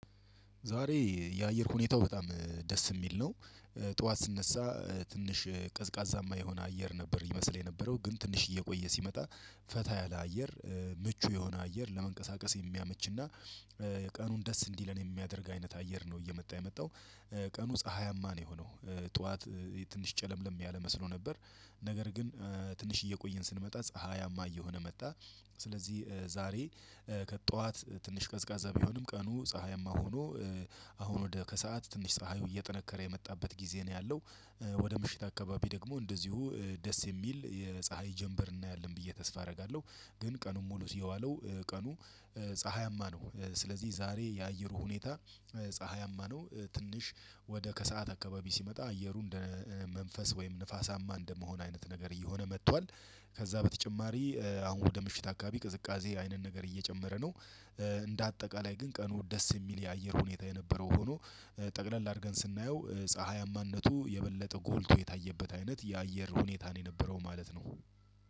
ዛሬ የአየር ሁኔታው በጣም ደስ የሚል ነው። ጠዋት ስነሳ ትንሽ ቀዝቃዛማ የሆነ አየር ነበር ይመስል የነበረው ግን ትንሽ እየቆየ ሲመጣ ፈታ ያለ አየር ምቹ የሆነ አየር ለመንቀሳቀስ የሚያመችና። ቀኑን ደስ እንዲለን የሚያደርግ አይነት አየር ነው እየመጣ የመጣው ቀኑ ፀሀያማ ነው የሆነው። ጠዋት ትንሽ ጨለምለም ያለ መስሎ ነበር ነገር ግን ትንሽ እየቆየን ስንመጣ ፀሀያማ እየሆነ መጣ። ስለዚህ ዛሬ ከጠዋት ትንሽ ቀዝቃዛ ቢሆንም ቀኑ ፀሀያማ ሆኖ አሁን ወደ ከሰአት ትንሽ ፀሀዩ እየጠነከረ የመጣበት ጊዜ ነው ያለው። ወደ ምሽት አካባቢ ደግሞ እንደዚሁ ደስ የሚል የፀሀይ ጀምበር እናያለን ብዬ ተስፋ አደርጋለሁ። ግን ቀኑን ሙሉ የዋለው ቀኑ ፀሀያማ ነው። ስለዚህ ዛሬ የአየሩ ሁኔታ ፀሀያማ ነው። ትንሽ ወደ ከሰአት አካባቢ ሲመጣ አየሩ እንደ መንፈስ ወይም ንፋሳማ እንደመሆን አይነት ነገር እየሆነ መጥቷል። ከዛ በተጨማሪ አሁን ወደ ምሽት አካባቢ ቅዝቃዜ አይነት ነገር እየጨመረ ነው። እንደ አጠቃላይ ግን ቀኑ ደስ የሚል የአየር ሁኔታ የነበረው ሆኖ ጠቅለል አድርገን ስናየው ፀሀያማነቱ የበለጠ ጎልቶ የታየበት አይነት የአየር ሁኔታን የነበረው ማለት ነው።